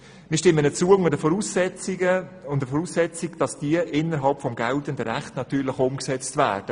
Wir stimmen unter der Voraussetzung zu, dass sie innerhalb des geltenden Rechts umgesetzt werden.